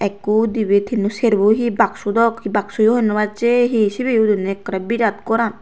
ikko dibe tinno serbo hee baksu dok bakshuyo hoi no acce hee sibe udine ekkore birat goran.